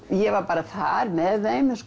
ég var bara þar með þeim